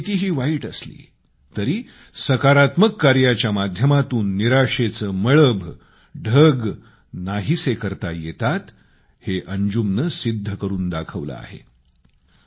परिस्थिती कितीही वाईट असली तरी सकारात्मक कार्याच्या माध्यमातून निराशेचे मळभ नाहीसे करता येतात हे अंजुमनं सिद्ध करून दाखवलं आहे